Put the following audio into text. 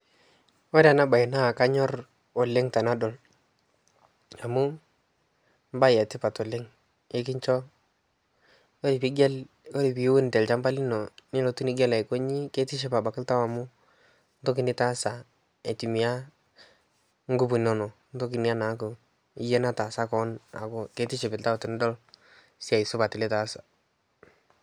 kore ana bai naa kanyor oleng tanadol amu mbai etipat oleng ikinsho kore piigel kore piwun tel shampa lino nilotuu nigel aikonyii keitiship abakii ltau amuu ntokii nitaasa aitumia nguvu inono ntoki inia naaku yie nataasa koon aaku keitiship ltau tinidol siai supat litaasa